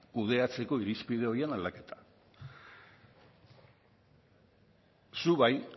kudeatzeko irizpide horien aldaketa zu bai